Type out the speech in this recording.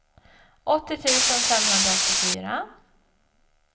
åttio tusen femhundraåttiofyra